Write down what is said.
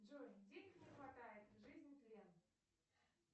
джой денег не хватает жизнь тлен